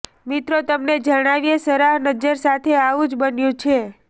મિત્રો તમને જણાવીએ સરાહ નજ્જર સાથે આવું જ બન્યું છે